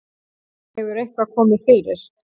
Hefur eitthvað komið fyrir?